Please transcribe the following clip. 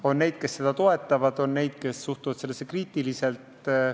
On neid, kes seda toetavad, on neid, kes suhtuvad asjasse kriitiliselt.